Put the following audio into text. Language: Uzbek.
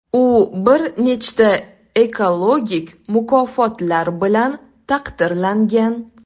U bir nechta ekologik mukofotlar bilan taqdirlangan.